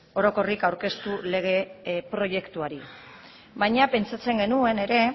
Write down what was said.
orokorrik aurkeztu lege proiektuari baina pentsatzen genuen ere